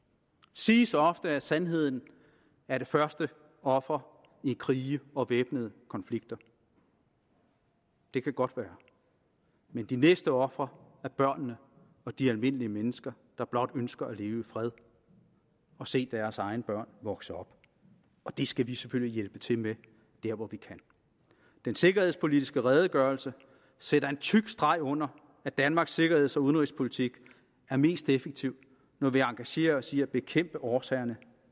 siges ofte at sandheden er det første offer i krige og væbnede konflikter det kan godt være men de næste ofre er børnene og de almindelige mennesker der blot ønsker at leve i fred og se deres egne børn vokse op og det skal vi selvfølgelig hjælpe til med der hvor vi kan den sikkerhedspolitiske redegørelse sætter en tyk streg under at danmarks sikkerheds og udenrigspolitik er mest effektiv når vi engagerer os i at bekæmpe årsagerne